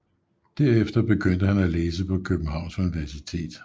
Derefter begyndte han at læse på Københavns Universitet